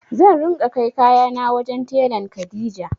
Zan ringa kai kayana wajen telan Kadija.